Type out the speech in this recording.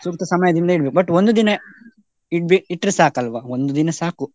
ಸೂಕ್ತ ಸಮಯದಿಂದ ಇಡ್ಬೇಕು but ಒಂದು ದಿನ ಇಡ್ಬೆ~ ಇಟ್ರೇ ಸಾಕಲ್ವ ಒಂದು ದಿನ ಸಾಕು.